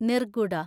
നിർഗുഡ